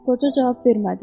Qoca cavab vermədi.